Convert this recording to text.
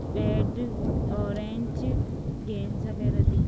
bad orange गेंज वगेरह दिख--